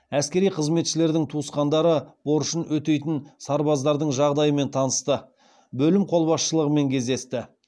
әскери қызметшілердің туысқандары борышын өтейтін сарбаздардың жағдайымен танысты бөлім қолбасшылығымен кездесті